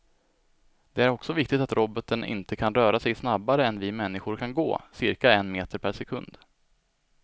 Det är också viktigt att roboten inte kan röra sig snabbare än vi människor kan gå, cirka en meter per sekund.